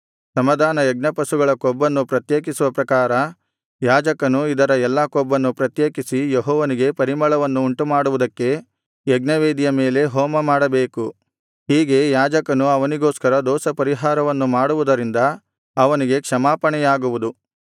ಸಮಾಧಾನ ಯಜ್ಞಪಶುಗಳ ಕೊಬ್ಬನ್ನು ಪ್ರತ್ಯೇಕಿಸುವ ಪ್ರಕಾರ ಯಾಜಕನು ಇದರ ಎಲ್ಲಾ ಕೊಬ್ಬನ್ನು ಪ್ರತ್ಯೇಕಿಸಿ ಯೆಹೋವನಿಗೆ ಪರಿಮಳವನ್ನು ಉಂಟುಮಾಡುವುದಕ್ಕೆ ಯಜ್ಞವೇದಿಯ ಮೇಲೆ ಹೋಮಮಾಡಬೇಕು ಹೀಗೆ ಯಾಜಕನು ಅವನಿಗೋಸ್ಕರ ದೋಷಪರಿಹಾರವನ್ನು ಮಾಡುವುದರಿಂದ ಅವನಿಗೆ ಕ್ಷಮಾಪಣೆಯಾಗುವುದು